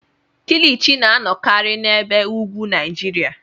Kilichi na-anọkarị n'ebe ugwu Naijiria.